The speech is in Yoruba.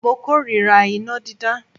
Mo kórira iná dídá.